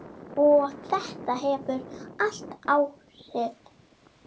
Og þetta hefur haft áhrif.